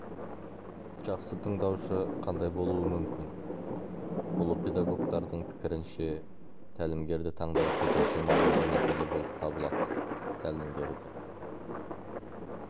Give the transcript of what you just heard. жақсы тыңдаушы қандай болуы мүмкін ұлы педагогтардың пікірінше тәлімгерді таңдау төтенше маңызды мәселе болып табылады тәлімгерді